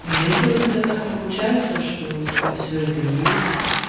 ну если у тебя так получается что у тебя всё это есть